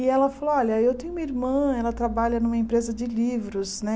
E ela falou, olha, eu tenho uma irmã, ela trabalha numa empresa de livros, né?